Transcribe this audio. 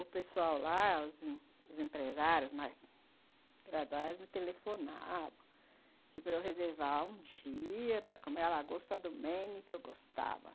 O pessoal lá, os empresários mais graduais, me telefonavam para eu reservar um dia para comer a lagosta do Maine, que eu gostava.